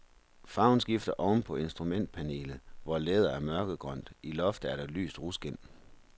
Farven skifter oven på instrumentpanelet, hvor læderet er mørkegrønt, i loftet er der lyst ruskind.